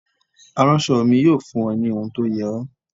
Aránṣọ mi yóò fún ọ ní ohun tó yẹ ọ.